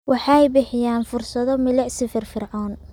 Waxay bixiyaan fursado milicsi firfircoon.